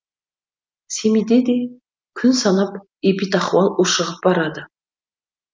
семейде де күн санап эпидахуал ушығып барады